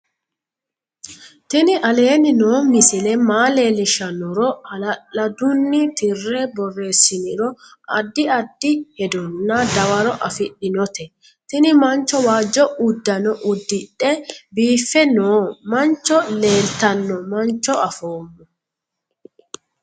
tini aleni noo misile maa leellishshannoro hala'lladunni tirre boreessiniro addi addi hedonna dawaro afidhinote tini mancho waajjo uddano uddidhe biiffe noo mancho lelitanno mancho afoommo